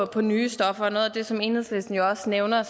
på nye stoffer noget af det som enhedslisten også nævner